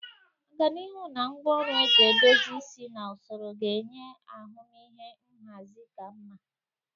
Ọganihu na ngwaọrụ eji edozi isi na usoro ga-enye ahụmịhe nhazi ka mma.